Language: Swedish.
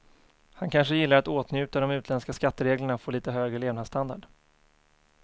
Han kanske gillar att åtnjuta de utländska skattereglerna och få lite högre levnadsstandard.